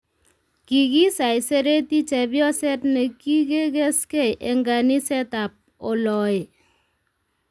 Kigisaisereti chepyoset negigesgei eng kaniset tab oloee